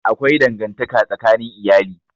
Akwai dangantaka tsakanin iyali.